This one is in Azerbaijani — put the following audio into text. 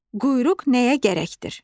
Quyruq nəyə gərəkdir?